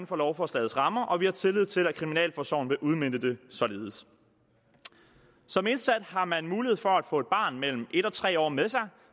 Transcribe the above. for lovforslagets rammer og vi har tillid til at kriminalforsorgen vil udmønte det således som indsat har man mulighed for at få et barn mellem en og tre år med sig